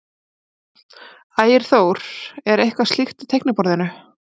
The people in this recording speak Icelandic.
Ægir Þór: Er eitthvað slíkt á teikniborðinu?